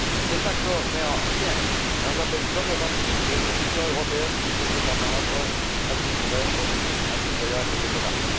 Cet accord n'est en rien un label d'honorabilité que l'Union européenne et ses États membres attribueraient au régime impitoyable des mollahs.